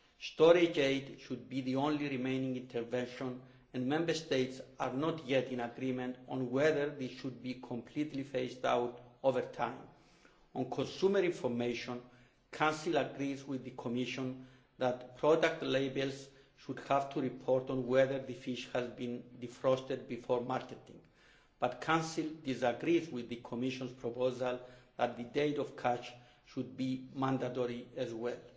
Storage aid should be the only remaining intervention and Member States are not yet in agreement on whether these should be completely phased out over time. On consumer information the Council agrees with the Commission that product labels should have to report on whether the fish has been defrosted before marketing, but the Council disagrees with the Commission's proposal that the date of catch should be mandatory as well.